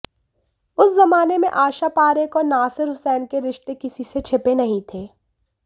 उस जमाने में आशा पारेख और नासिर हुसैन के रिश्ते किसी से छिपे नहीं थे